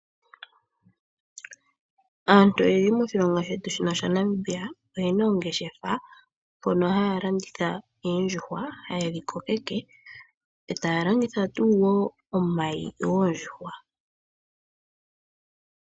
Aantu oyendji moshilongo dhetu shino shaNamibia oyena oongeshefa mono yaha landitha oondjuhwa, tayedhi kokeke , etaya landitha tuu wo omayi goondjuhwa.